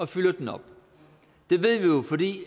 fylder op det ved vi jo fordi